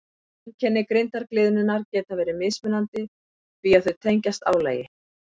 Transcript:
Einkenni grindargliðnunar geta verið mismunandi því að þau tengjast álagi.